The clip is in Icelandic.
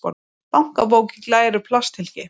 Bankabók í glæru plasthylki.